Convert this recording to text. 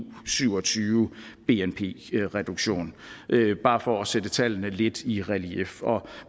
syv og tyve bnp reduktion det er bare for at sætte tallene lidt i relief